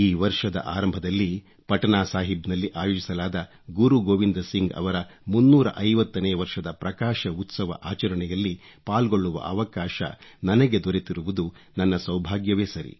ಈ ವರ್ಷದ ಆರಂಭದಲ್ಲಿ ಪಟನಾಸಾಹಿಬ್ನಲ್ಲಿ ಆಯೋಜಿಸಲಾದ ಗುರು ಗೋವಿಂದ್ ಸಿಂಗ್ ಅವರ 350 ನೇ ವರ್ಷದ ಪ್ರಕಾಶ ಉತ್ಸವ ಆಚರಣೆಯಲ್ಲಿ ಪಾಲ್ಗೊಳ್ಳುವ ಅವಕಾಶ ನನಗೆ ದೊರೆತಿರುವುದು ನನ್ನ ಸೌಭಾಗ್ಯವೇ ಸರಿ